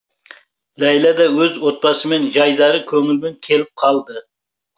ләйлә да өз отбасымен жайдары көңілімен келіп қалды